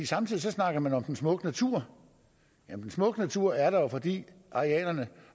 samtidig snakker man om den smukke natur men den smukke natur er der jo fordi arealerne